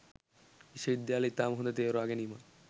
විශ්වවිද්‍යාලය ඉතාම හොඳ තෝරාගැනීමක්